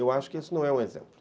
Eu acho que isso não é um exemplo.